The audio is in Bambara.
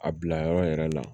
A bila yɔrɔ yɛrɛ la